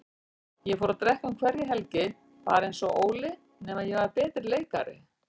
Ég fór að drekka um hverja helgi, bara einsog Óli, nema ég var betri leikari.